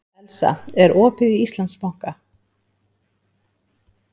Elsa, er opið í Íslandsbanka?